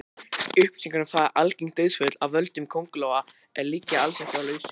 Upplýsingar um það hversu algeng dauðsföll af völdum köngulóa eru liggja alls ekki á lausu.